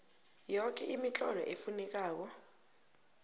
yoke imitlolo efunekako